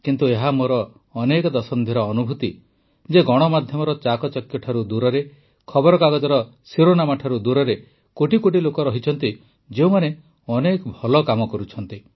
କିନ୍ତୁ ଏହା ମୋର ଅନେକ ଦଶନ୍ଧିର ଅନୁଭୂତି ଯେ ଗଣମାଧ୍ୟମର ଚାକଚକ୍ୟଠାରୁ ଦୂରରେ ଖବରକାଗଜର ଶିରୋନାମାଠାରୁ ଦୂରରେ କୋଟି କୋଟି ଲୋକ ଅଛନ୍ତି ଯେଉଁମାନେ ଅନେକ ଭଲ କାମ କରୁଛନ୍ତି